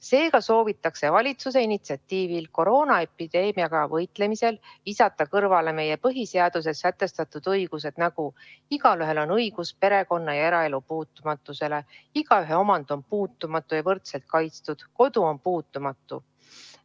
Seega soovitakse valitsuse initsiatiivil koroonaepideemiaga võitlemisel visata kõrvale meie põhiseaduses sätestatud õigused: igaühel on õigus perekonna- ja eraelu puutumatusele, igaühe omand on puutumatu ja võrdselt kaitstud, kodu on puutumatu.